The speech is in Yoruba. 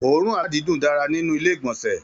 Oòrùn aladidun dára nínú ilé igbọnsẹ.